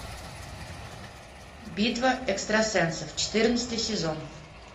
битва экстрасенсов четырнадцатый сезон